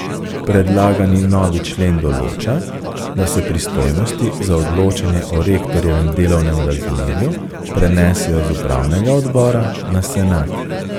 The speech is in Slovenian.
Predlagani novi člen določa, da se pristojnosti za odločanje o rektorjevem delovnem razmerju prenesejo z upravnega odbora na senat.